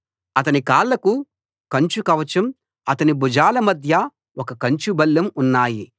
అతని కాళ్లకు కంచు కవచం అతని భుజాల మధ్య ఒక కంచు బల్లెం ఉన్నాయి